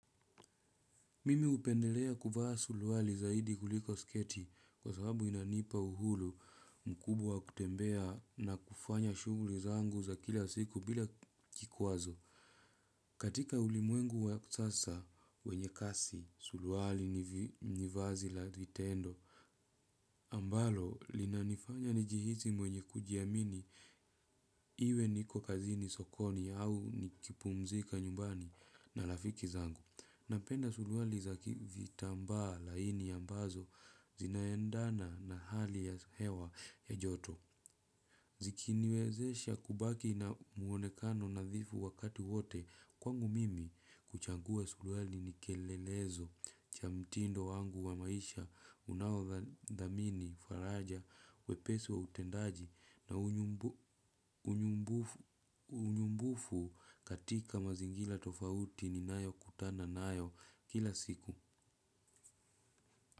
Mimi upendelea kuvaa suruali zaidi kuliko sketi kwa sababu inanipa uhuru mkubwa kutembea na kufanya shuguli zangu za kila siku bila kikwazo. Katika ulimwengu wa sasa wenye kasi suruali ni vazi la vitendo. Ambalo linanifanya nijihisi mwenye kujiamini iwe niko kazini sokoni au nikipumzika nyumbani na rafiki zangu. Napenda suruali za vitambaa laini ambazo zinaendana na hali ya hewa ya joto. Zikiniwezesha kubaki na muonekano nadhifu wakati wote kwangu mimi kuchagua suruali ni kielelezo cha mtindo wangu wa maisha unaodhamini faraja wepesi wa utendaji na unyumbufu katika mazingira tofauti ninayo kutana nayo kila siku.